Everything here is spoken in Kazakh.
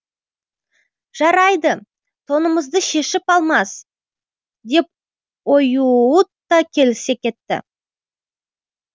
жарайды тонымызды шешіп алмас деп оюут та келісе кетті